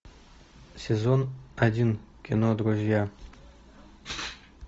сезон один кино друзья